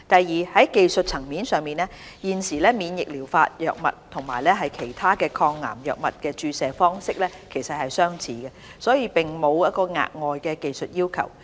二在技術層面上，現時免疫療法藥物與其他抗癌藥物的注射方式相似，並沒有額外的技術要求。